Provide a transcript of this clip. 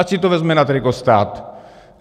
Ať si to vezme na triko stát.